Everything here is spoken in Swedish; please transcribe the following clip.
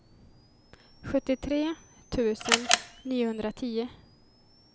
sjuttiotre tusen niohundratio